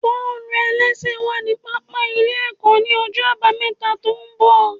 Bọ́ọ̀lù-ẹlẹ́sẹ̀ wà ní pápá ilé ẹ̀kọ́ ní ọjọ́ àbámẹ́ta tó ń bọ̀